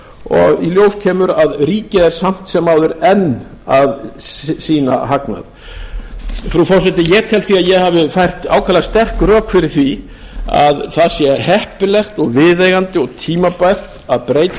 og í ljós kemur að ríkið er samt sem áður enn að sýna hagnað frú forseti ég tel því að ég hafi fært ákaflega sterk rök fyrir því að það sé heppilegt og viðeigandi og tímabært að breyta